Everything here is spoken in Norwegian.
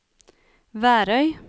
Værøy